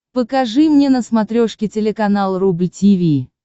покажи мне на смотрешке телеканал рубль ти ви